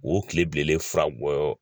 U bɛ tile bilelen fura bɔ